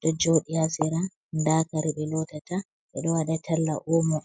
ɗo jooɗi haa sera, ndaa kare ɓe lootata, ɓe ɗo waɗa talla oomo.